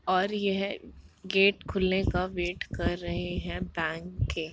और यह गेट खुलने का वेट कर रहे हैं बैंक के |